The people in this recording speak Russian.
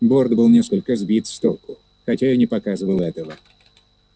борт был несколько сбит с толку хотя и не показывал этого